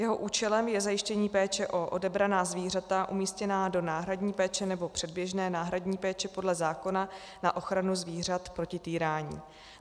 Jeho účelem je zajištění péče o odebraná zvířata umístěná do náhradní péče nebo předběžné náhradní péče podle zákona na ochranu zvířat proti týrání.